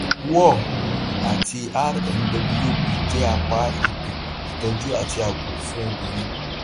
war um àti rnwp jẹ apá ètò ìtọjú àti ààbò fún obìnrin